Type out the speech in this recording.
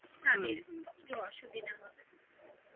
তাদের একটু অসুবিধা হবে